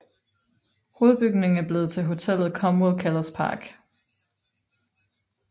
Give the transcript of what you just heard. Hovedbygningen er blevet til hotellet Comwell Kellers Park